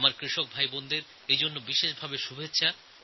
আমার কৃষক ভাইবোনদের এজন্য আমি ধন্যবাদ জানাই